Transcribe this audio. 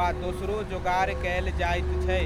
वा दोसरो जोगार कयल जाइत छै।